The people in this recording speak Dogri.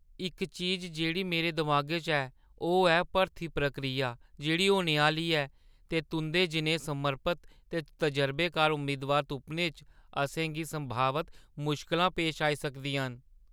इक चीज जेह्ड़ी मेरे दमागै च ऐ, ओह् ऐ भरथी प्रक्रिया जेह्ड़ी होने आह्‌ली ऐ, ते तुंʼदे जनेहे समर्पत ते तजरबेकार उम्मीदवार तुप्पने च असें गी संभावत मुश्कलां पेश आई सकदियां न।